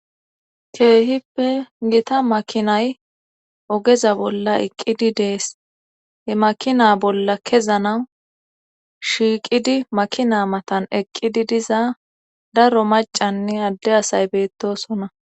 Keehipe gita makinay ogeza bolla eqqidi des;he makina bolla kezanawu shiiqidi makina matan eqqidi diza daro maccanne adde asay beettoosona.